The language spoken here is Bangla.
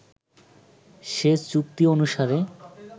সে চুক্তি অনুসারে